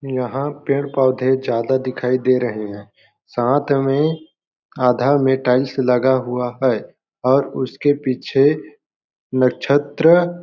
यहाँ पेड़ पौधे ज्यादा दिखाई दे रहे हैं साथ में आधा मे टाइल्स लगा हुआ है और उसके पीछे नक्षत्र --